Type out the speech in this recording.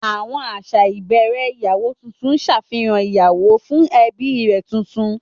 Àwọn àṣà ìbẹ̀rẹ̀ ìyàwó tuntun ṣàfihàn ìyàwó fún ẹbí rẹ̀ tuntun.